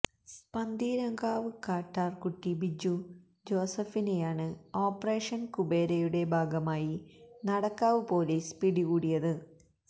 പന്തീരാങ്കാവ് കട്ടാര്കുട്ടി ബിജു ജോസഫിനെയാണ് ഓപ്പറേഷന് കുബേരയുടെ ഭാഗമായി നടക്കാവ് പൊലീസ് പിടികൂടിയത്